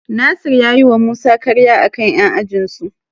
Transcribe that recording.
Nasir ya yiwa Musa karya a kan 'yan ajinsu.